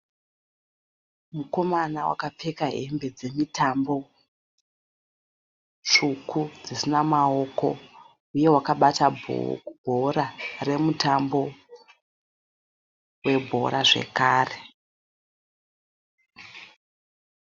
Mukomana wakapfeka hembe dzemutambo tsvuku dzisina maoko, uye wakabata bhora remutambo webhora zvekare.